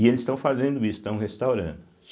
E eles estão fazendo isso, estão restaurando.